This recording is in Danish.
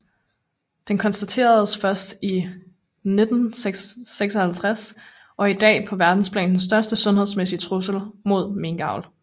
Den konstatereres første gang i 1956 og er i dag på verdensplan den største sundhedsmæssige trussel mod minkavl